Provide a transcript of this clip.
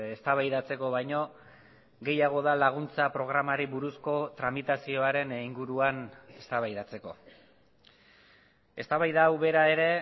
eztabaidatzeko baino gehiago da laguntza programari buruzko tramitazioaren inguruan eztabaidatzeko eztabaida hau bera ere